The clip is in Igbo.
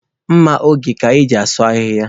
Mma oge ka a na-eji asụ ahịhịa.